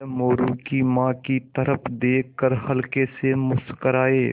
वह मोरू की माँ की तरफ़ देख कर हल्के से मुस्कराये